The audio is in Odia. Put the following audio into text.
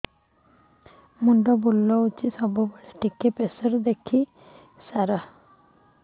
ମୁଣ୍ଡ ବୁଲୁଚି ସବୁବେଳେ ଟିକେ ପ୍ରେସର ଦେଖିବେ କି ସାର